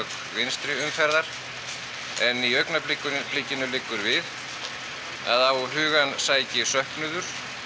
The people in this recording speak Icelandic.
vinstri umferðar en í augnablikinu augnablikinu liggur við að á hugann sæki söknuður